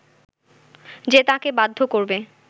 যে তাঁকে বাধ্য করবে